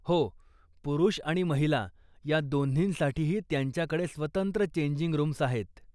हो, पुरूष आणि महिला या दोन्हींसाठीही त्यांच्याकडे स्वतंत्र चेंजिंग रूम्स आहेत.